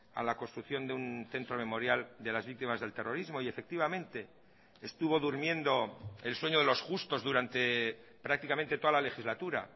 a la construcción de un centro memorial de las víctimas del terrorismo y efectivamente estuvo durmiendo el sueño de los justos durante prácticamente toda la legislatura